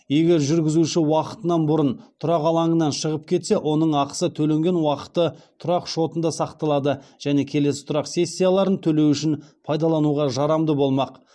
егер жүргізуші уақытынан бұрын тұрақ алаңынан шығып кетсе оның ақысы төленген уақыты тұрақ шотында сақталады және келесі тұрақ сессияларын төлеу үшін пайдалануға жарамды болмақ